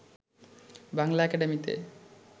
বাংলা একাডেমিতে